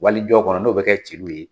Wali jɔ kɔnɔ n'o bɛ kɛ celu ye